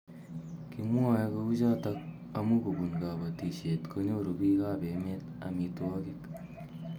Kimwae kouchotok amu kobun kabatishet konyoru biik ab emet amitwogik